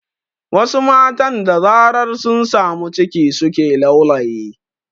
Wasu matan da zarar sun samu ciki suke laulayi